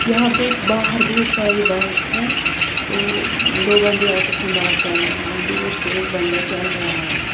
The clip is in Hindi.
यहाँ पे बाहर बहुत सारे बाइक है और दो बन्दे आपस मे बात कर रहे है दूर से एक बंदा चल रहा है।